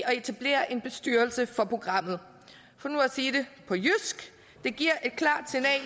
og etablere en bestyrelse for programmet for nu at sige det på jysk det giver